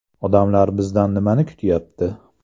Odamlar bizdan nimani kutayapti?